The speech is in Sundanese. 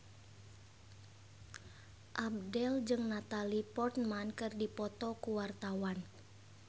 Abdel jeung Natalie Portman keur dipoto ku wartawan